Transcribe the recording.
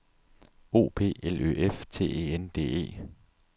O P L Ø F T E N D E